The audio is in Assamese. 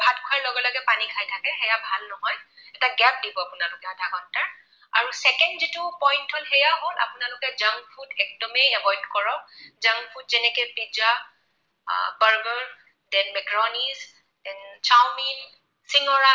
এটা gap দিব আপোনালোকে আধা ঘণ্টা। আৰু second যিটো point হল, সেয়া হল আপোনালোকে junk food একদমেই avoid কৰক। junk food যেনেকৈ pizza, burger, then macaroni চিঙৰা